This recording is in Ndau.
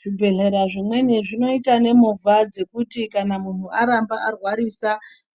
Zvibhedhlera zvimweni zvinoita nemovha dzekuti kana munhu aramba arwarisa